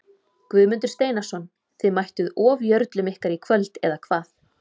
Guðmundur Steinarsson Þið mættuð ofjörlum ykkar í kvöld eða hvað?